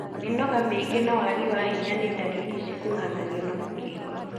Mĩnoga mĩingĩ na wagi wa hinya nĩ ndariri cikuruhanagio na mũkingo.